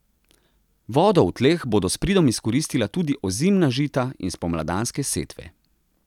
Vodo v tleh bodo s pridom izkoristila tudi ozimna žita in spomladanske setve.